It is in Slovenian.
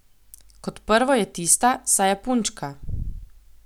Kot prvo je tista, saj je punčka.